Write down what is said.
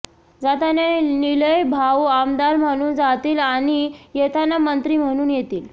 जाताना निलय भाऊ आमदार म्हणून जातील आणि येताना मंत्री म्हणून येतील